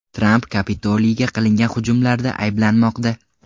Tramp Kapitoliyga qilingan hujumlarda ayblanmoqda.